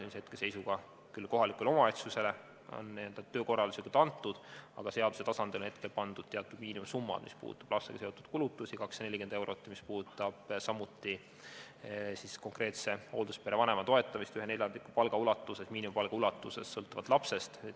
See on hetkeseisuga küll antud n-ö töökorralduslikult kohalikule omavalitsusele, aga seaduse tasandil on pandud paika teatud miinimumsumma, mis puudutab lastega seotud kulutusi, 240 eurot, ja samuti konkreetse hoolduspere vanema toetamist neljandiku miinimumpalga ulatuses sõltuvalt lapsest.